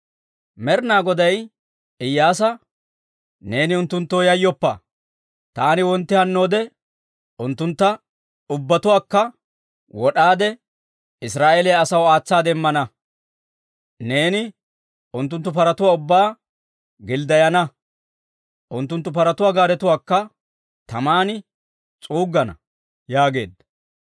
Med'ina Goday Iyyaasa, «Neeni unttunttoo yayyoppa! Taani wontti hannoode unttuntta ubbatuwaakka wod'aade, Israa'eeliyaa asaw aatsaade immana. Neeni unttunttu paratuwaa ubbaa gilddayana; unttunttu paratuwaa gaaretuwaakka taman s'uuggana» yaageedda.